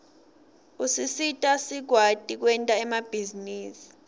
usisita sikwati kwenta emabhizinisi